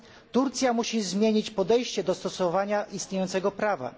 Turcja musi zmienić podejście do stosowania istniejącego prawa.